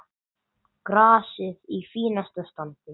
Grasið í fínasta standi.